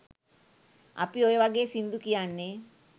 අපි ඔය වගේ සින්දු කියන්නෙ